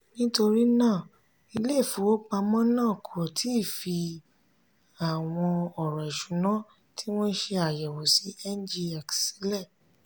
nítorí náà ilé ìfowópamọ́ náà kò tí ì fi àwọn ọ̀rọ̀ ìṣúná tí wọ́n ṣe àyẹ̀wò sí ngx sílẹ̀.